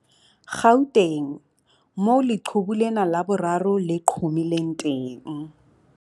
Gauteng, moo leqhubu lena la boraro le qhomileng teng.